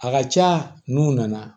A ka ca n'u nana